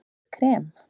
Gott krem